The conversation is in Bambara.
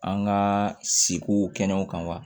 An ka seko kɛnɛw kan wa